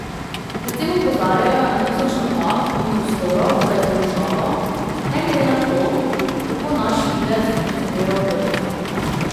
Predvsem opozarjajo na tisoč napak in prostorov za izboljšavo, ne glede na to, kako naš videz ocenjuje okolica.